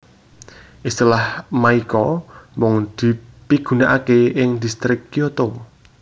Istilah maiko mung dipigunakaké ing distrik Kyoto